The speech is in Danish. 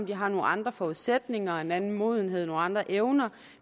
de har nogle andre forudsætninger og en anden modenhed nogle andre evner og